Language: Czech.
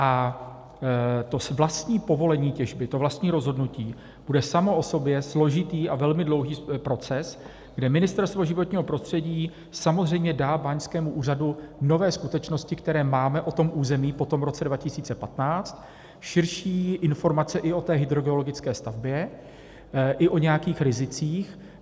A to vlastní povolení těžby, to vlastní rozhodnutí bude samo o sobě složitý a velmi dlouhý proces, kde Ministerstvo životního prostředí samozřejmě dá báňskému úřadu nové skutečnosti, které máme o tom území po tom roce 2015, širší informace i o té hydrogeologické stavbě, i o nějakých rizicích.